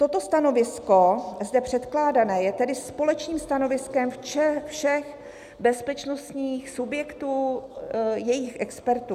"Toto stanovisko zde předkládané je tedy společným stanoviskem všech bezpečnostních subjektů", jejich expertů.